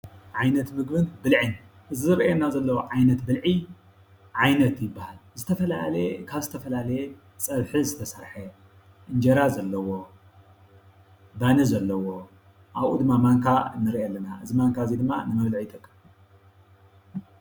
ዓይነት ምግብን ብልዕን እዚ ዝርአየና ዘሎ ዓይነት ብልዒ ዓይነት ይበሃል። ዝተፈላለየ ካብ ዝተፈላለየ ፀብሒ ዝተሰረሐ እንጀራ ዘለዎ ባኒ ዘለዎ ኣብኡ ድማ ማንካ ንርኢ ኣለና እዚ ማንካ እዚ ድማ ንመብልዒ ይጠቅም።